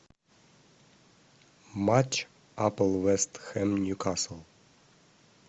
матч апл вест хэм ньюкасл